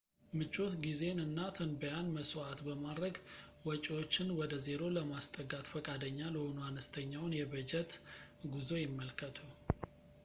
ምቾት ጊዜን እና ትንበያን መሥዋዕት በማድረግ ወጪዎችን ወደ ዜሮ ለማስጠጋት ፈቃደኛ ለሆኑ አነስተኛውን የበጀት ጉዞ ይመልከቱ